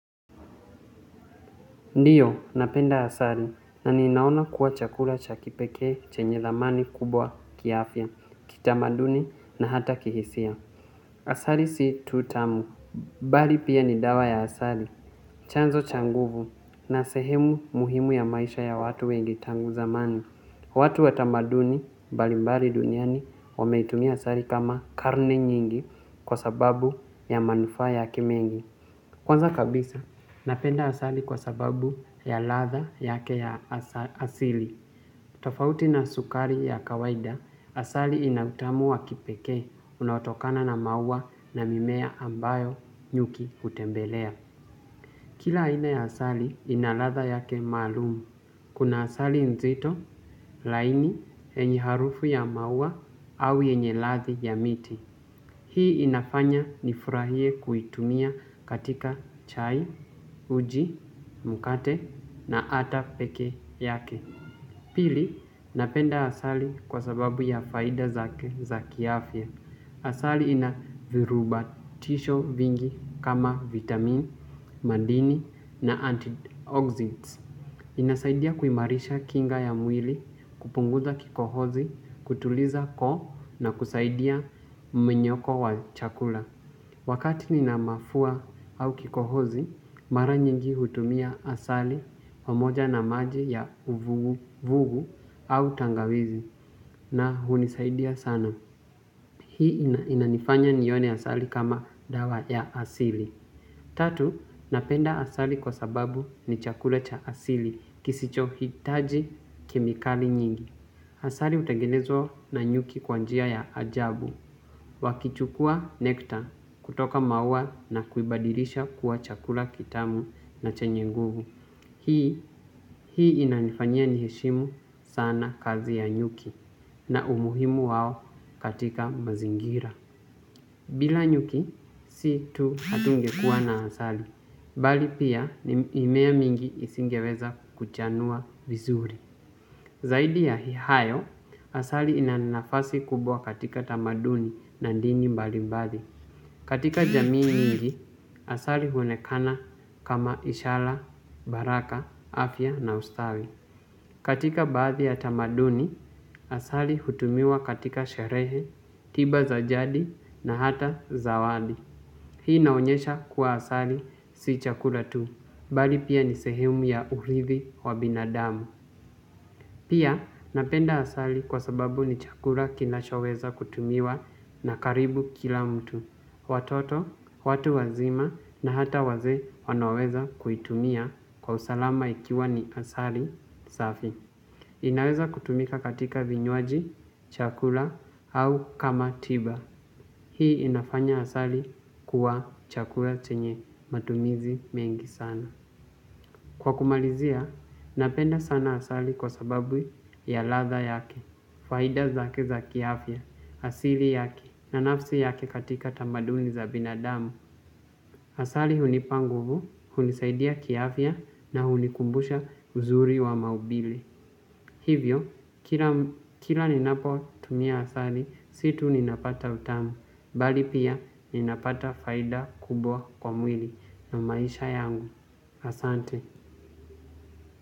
Ndiyo, napenda asali, na ninaona kuwa chakula cha kipekee chenye thamani kubwa kiafya, kitamaduni na hata kihisia. Asali si tu tamu, bali pia ni dawa ya asali, chanzo cha nguvu, na sehemu muhimu ya maisha ya watu wengi tangu zamani. Watu wa tamaduni mbalimbali duniani, wameitumia asali kama karne nyingi kwa sababu ya manufaa yake mengi. Kwanza kabisa, napenda asali kwa sababu ya ladha yake ya asili. Tofauti na sukari ya kawaida asali ina utamu wa kipekee unatokana na maua na mimea ambayo nyuki hutembelea. Kila aina ya asali ina ladha yake maalumu. Kuna asali nzito, laini, yenye harufu ya maua au yenye ladhi ya miti. Hii inafanya nifurahie kuitumia katika chai, uji, mkate na ata pekee yake. Pili, napenda asali kwa sababu ya faida zake za kiafya. Asali ina virubatisho vingi kama vitamin, madini na antideoxins. Inasaidia kuimarisha kinga ya mwili, kupunguza kikohozi, kutuliza koo na kusaidia mmenyoko wa chakula. Wakati nina mafua au kikohozi, mara nyingi hutumia asali pamoja na maji ya uvuguvugu au tangawizi na hunisaidia sana. Hii inanifanya nione asali kama dawa ya asili. Tatu, napenda asali kwa sababu ni chakula cha asili kisichohitaji kemikali nyingi. Asali utangenezwa na nyuki kwa njia ya ajabu. Wakichukua nekta kutoka maua na kuibadilisha kuwa chakula kitamu na chenye nguvu. Hii, hii inanifanya ni heshimu sana kazi ya nyuki na umuhimu wao katika mazingira. Bila nyuki, si tu hatunge kuwa na asali. Bali pia mimea mingi isingeweza kuchanua vizuri. Zaidi ya hayo, asali ina nafasi kubwa katika tamaduni na dini mbali mbali. Katika jamii mingi, asali huonekana kama ishara, baraka, afya na ustawi. Katika baadhi ya tamaduni, asali hutumiwa katika sherehe, tiba za jadi na hata zawadi. Hii inaonyesha kuwa asali si chakula tu, bali pia ni sehemu ya urithi wa binadamu. Pia napenda asali kwa sababu ni chakula kinashoweza kutumiwa na karibu kila mtu. Watoto, watu wazima na hata wazee wanaweza kuitumia kwa usalama ikiwa ni asali safi. Inaweza kutumika katika vinywaji, chakula au kama tiba. Hii inafanya asali kuwa chakula chenye matumizi mengi sana. Kwa kumalizia, napenda sana asali kwa sababu ya ladha yake, faida zake za kiafya, asili yake na nafasi yake katika tamaduni za binadamu. Asali hunipa nguvu, hunisaidia kiafya na hunikumbusha uzuri wa maumbile. Hivyo, kila ninapotumia asali, si tu ninapata utamu, bali pia ninapata faida kubwa kwa mwili na maisha yangu. Asante.